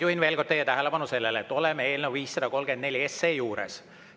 Juhin veel kord teie tähelepanu sellele, et oleme eelnõu 534 juures.